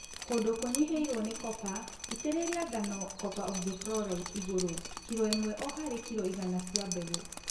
Kũndũ kũnyihĩirwo nĩ copper, itĩrĩria ngano copper oxychloride igũru kilo ĩmwe o harĩ kilo igana cia mbegũ